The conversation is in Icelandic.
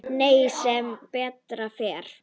Nei, sem betur fer.